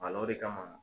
o de kama